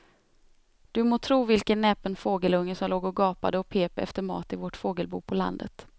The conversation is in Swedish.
Du må tro vilken näpen fågelunge som låg och gapade och pep efter mat i vårt fågelbo på landet.